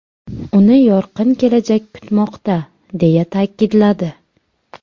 Uni yorqin kelajak kutmoqda!”, deya ta’kidladi.